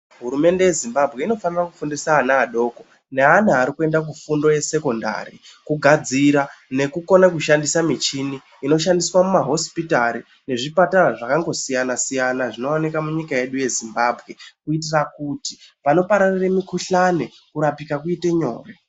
Hurumende yeZimbabwe inofane kufundisa ana adoko neana arikuenda kufundo yesekondari kugadzira nekukona kushandisa michini inoshandiswa mumahosipitari nezvipatara zvakangosiyana-siyana zvinowanikwa munyika yedu yeZimbabwe, kuitira kuti panopararira mikhuhlani kurapika kuite nyore.